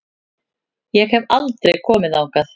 Ég hef aldrei komið þangað.